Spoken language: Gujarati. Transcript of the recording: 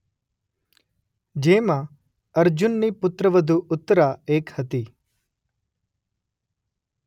જેમાં અર્જુનની પુત્રવધુ ઉત્તરા એક હતી.